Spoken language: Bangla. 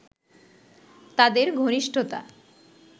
তাদের ঘনিষ্ঠতা